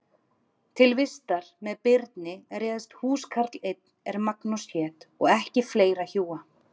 Til vistar með Birni réðst húskarl einn er Magnús hét og ekki fleira hjúa.